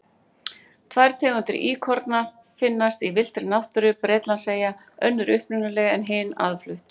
Tvær tegundir íkorna finnast í villtri náttúru Bretlandseyja, önnur upprunaleg en hin aðflutt.